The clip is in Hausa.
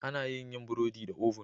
Ana yin yin burodi da "oven".